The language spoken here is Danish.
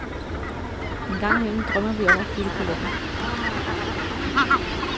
En gang imellem drømmer vi om at flytte på landet.